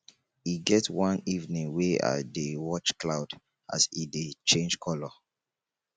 e get one evening wey i dey watch cloud as e dey change colour